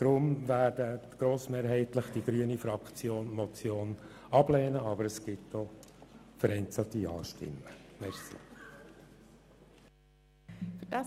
Deshalb wird die grüne Fraktion die Motion grossmehrheitlich ablehnen, aber es wird auch vereinzelte Ja-Stimmen geben.